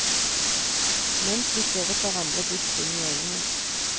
Mens vi stirret hverandre dypt inn i øynene.